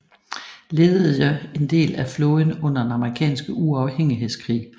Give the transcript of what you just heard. Ledede en del af flåden under den amerikanske uafhængighedskrig